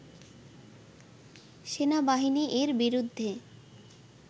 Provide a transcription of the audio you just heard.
সেনাবাহিনী এর বিরুদ্ধে